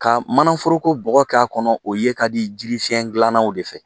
Ka mana foroko bɔɔgɔ k'a kɔnɔ o ye ka di jirifiyɛn gilannaw de fɛ.